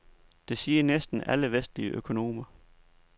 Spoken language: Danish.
Det siger næsten alle vestlige økonomer.